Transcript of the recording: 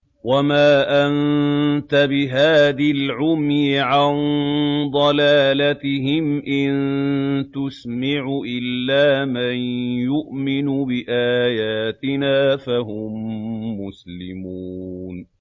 وَمَا أَنتَ بِهَادِ الْعُمْيِ عَن ضَلَالَتِهِمْ ۖ إِن تُسْمِعُ إِلَّا مَن يُؤْمِنُ بِآيَاتِنَا فَهُم مُّسْلِمُونَ